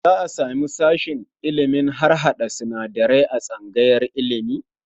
Za a samu sashen ilimin harhaɗa sinadarai a tsangayar ilimi?